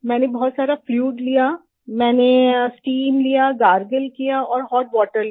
मैंने बहुत सारा फ्लूइड लिया मैंने स्टीम लिया गार्गल किया और होट वाटर लिया